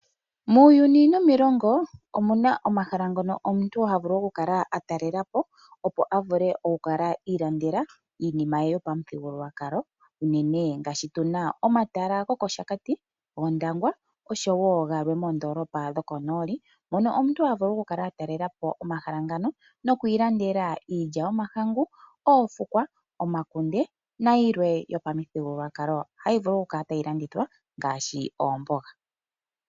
Muuyuni nomiilongo omuna omahala ngono omuntu ta vulu oku kala atalela po, opo a vule oku kala iilandela iinima ye yopamuthigululwakalo uunene ngaashi tuna omatala gokOshakati, gOndangwa nosho wo galwe moondoolopa dhokonooli mono omuntu ha vulu oku kala a talela po omahala ngano noku ilandela iilya yomahangu, oofukwa , omakunde nayilwe yopamuthigululwakalo hayi vulu oku kala tayi landithwa ngaashi oomboga.